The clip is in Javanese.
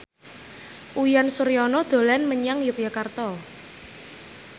Uyan Suryana dolan menyang Yogyakarta